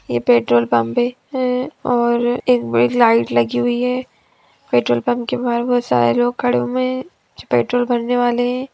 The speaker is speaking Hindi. ये पेट्रोल पंप है अ एक बड़ी लाइट लगी हुई है पेट्रोल पंप के बाहर बहुत सारे लोग खड़े हुए हैं पेट्रोल भरने वाले हैं।